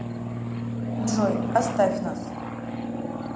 джой оставь нас